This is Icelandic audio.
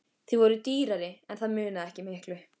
Þau voru dýrari en það munaði ekki miklu.